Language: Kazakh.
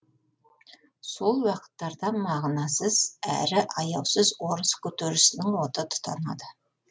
сол уақыттарда мағынасыз әрі аяусыз орыс көтерілісінің оты тұтанады